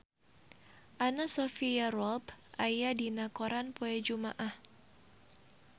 Anna Sophia Robb aya dina koran poe Jumaah